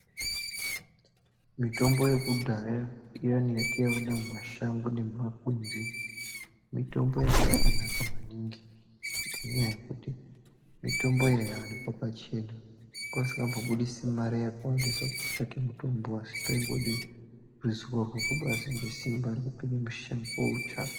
Mitombo yekudhaya iyani yataiona mumashango nemumakwenzi ,mitombo yanga yakanaka maningi ngenyaya yekuti mitombo yaiwanikwa pachena .Wanga usikambobudisi mare yakawandisa kutsvake mitombo, asi paingode ruzivo basi nesimba rekupinda mushango basi ,wotsvaka.